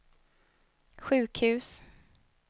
sjukhus